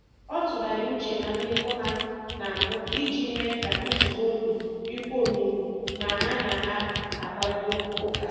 Ọ tụgharịrị uche na mmekọ ha na mbụ iji mee ka njikọ obi dịkwuo omimi ma ha na a kparịkọta ụka